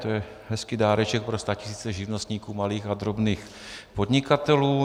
To je hezký dáreček pro statisíce živnostníků, malých a drobných podnikatelů.